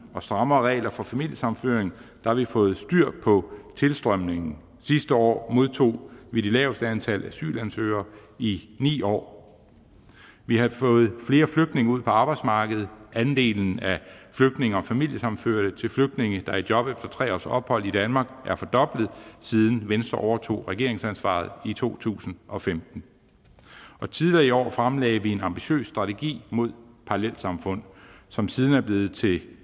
og strammere regler for familiesammenføring fået styr på tilstrømningen sidste år modtog vi det laveste antal asylansøgere i ni år vi har fået flere flygtninge ud på arbejdsmarkedet andelen af flygtninge og familiesammenførte til flygtninge der er i job efter tre års ophold i danmark er fordoblet siden venstre overtog regeringsansvaret i to tusind og femten tidligere i år fremlagde vi en ambitiøs strategi mod parallelsamfund som siden er blevet til